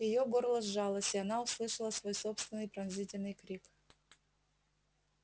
её горло сжалось и она услышала свой собственный пронзительный крик